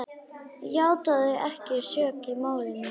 játaði ekki sök í málinu.